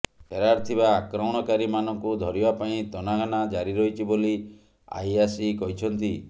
ଫେରାର୍ ଥିବା ଆକ୍ରମଣକାରୀ ମାନଙ୍କୁ ଧରିବା ପାଇଁ ତନାଘନା ଜାରି ରହିଛି ବୋଲି ଆଇଆସି କହିଛନ୍ତି